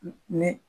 Ni